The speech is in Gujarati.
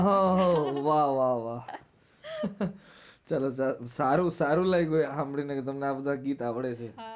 હમ હમ વાહ વાહ વાહ ચાલો સારું સારું લાઇગું સાંભળી ને આ બધા ગીતો આવડે છે.